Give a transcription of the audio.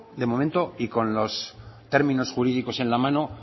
de momento y con los términos jurídicos en la mano